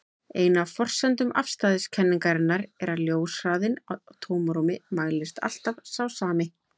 Ein af forsendum afstæðiskenningarinnar er að ljóshraðinn í tómarúmi mælist alltaf sá sami.